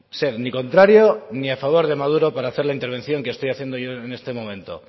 ser ni contrario ni a favor de maduro para hacer la intervención que estoy haciendo yo en este momento